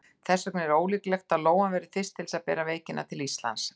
Þess vegna er ólíklegt að lóan verði fyrst til þess að bera veikina til Íslands.